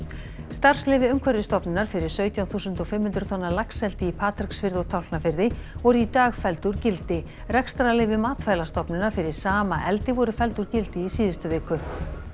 starfsleyfi Umhverfisstofnunar fyrir sautján þúsund og fimm hundruð tonna laxeldi í Patreksfirði og Tálknafirði voru í dag felld úr gildi rekstrarleyfi Matvælastofnunar fyrir sama eldi voru felld úr gildi í síðustu viku